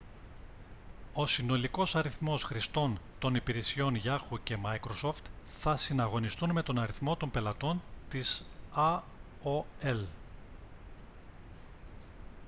ο συνολικός αριθμός χρηστών των υπηρεσιών yahoo και microsoft θα συναγωνιστούν με τον αριθμό των πελατών της aol